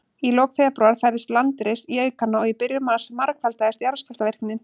Í lok febrúar færðist landris í aukana, og í byrjun mars margfaldaðist jarðskjálftavirknin.